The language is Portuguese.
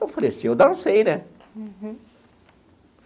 Eu falei assim, eu dancei, né?